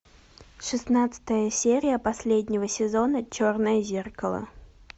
шестнадцатая серия последнего сезона черное зеркало